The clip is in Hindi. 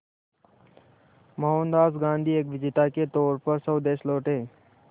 मोहनदास गांधी एक विजेता के तौर पर स्वदेश लौटे